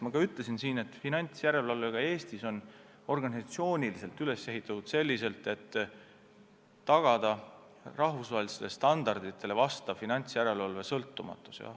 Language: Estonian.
Ma juba ütlesin, et finantsjärelevalve on Eestis organisatsiooniliselt üles ehitatud selliselt, et oleks tagatud rahvusvahelistele standarditele vastav finantsjärelevalve sõltumatus.